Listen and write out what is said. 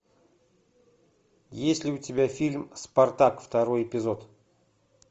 есть ли у тебя фильм спартак второй эпизод